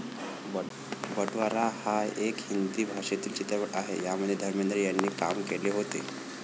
बटवारा हायेक हिंदी भाषेतील चित्रपट आहे यामध्ये धर्मेंद्र यांनी काम केले होते